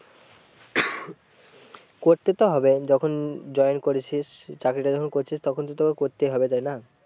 করতে তো হবে যখন join করেছিস চাকরিটা যখন করছিস তখন তো তোকে করতে হবে তাই না।